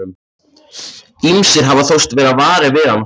Ýmsir hafa þóst verða varir við hann og séð hann.